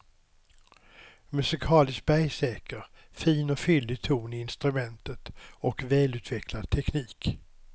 Musikaliskt bergsäker, fin och fyllig ton i instrumentet och välutvecklad teknik.